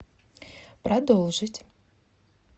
продолжить